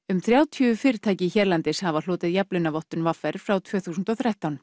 um þrjátíu fyrirtæki hérlendis hafa hlotið jafnlaunavottun v r frá tvö þúsund og þrettán